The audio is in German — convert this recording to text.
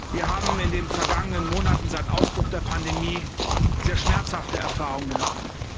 Wir haben in den vergangenen Monaten seit Ausbruch der Pandemie sehr schmerzhafte Erfahrungen gemacht.